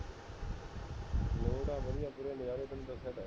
ਲੋਟ ਆਂ ਵਧੀਆ ਪੂਰੇ ਨਜ਼ਾਰੇ ਤੈਨੂੰ ਦਸਿਆ ਤਾਂ ਹੈਗਾ